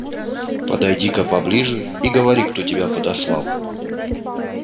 подойди-ка поближе и говори кто тебя подослал